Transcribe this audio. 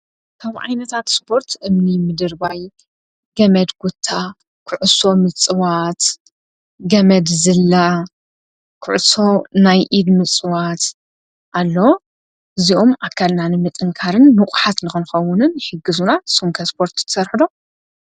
ካብ ዓይነታት ስፖርት እምኒ ምድርባይ ፣ገመድ ኩታ፣ ኩዕሶ ምፅዋት ፣ገመድ ዝላ፣ ኩዕሶ ናይ ኢድ ምፅዋት ኣሎ እዚኦም ኣካልና ንምጥንካርን ንቑሓት ንክኸውንን ይሕግዙና ንስኹምከ ስፖርት ትሰርሑ ዶ?